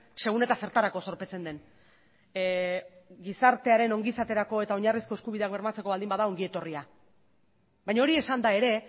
segun eta zertarako zorpetzen den gizartearen ongizaterako eta oinarrizko eskubideak bermatzeko baldin bada ongi etorria baina hori esanda ere